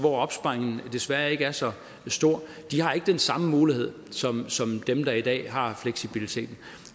opsparingen desværre ikke er så stor de har ikke den samme mulighed som som dem der i dag har fleksibiliteten